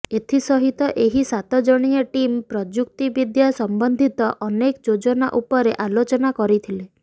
ଏଥିସହିତ ଏହି ସାତ ଜଣିଆ ଟିମ୍ ପ୍ରଯୁକ୍ତିବିଦ୍ୟା ସମ୍ବନ୍ଧିତ ଅନେକ ଯୋଜନା ଉପରେ ଆଲୋଚନା କରିଥିଲେ